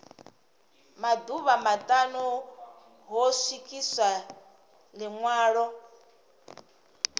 maḓuvha maṱanu ho swikiswa ḽiṅwalo